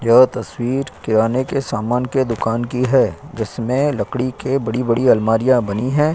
यह तस्वीर किराने के सामान के दुकान की है जिसमें लकड़ी के बड़ी-बड़ी अलमारियां बनी हैं।